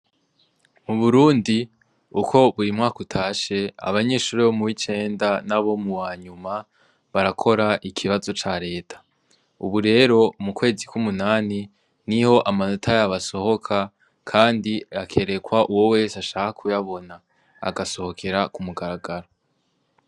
Uburundi uko buri mwaka utashe abanyeshuri bo muwicenda nabo mu wanyuma barakora ikibazo ca reta, ubu rero mu kwezi ku munani niho amanota yabo asohoka kandi akerekwa uwo wese ashaka kuyabona agasohokera ku mugaragaro.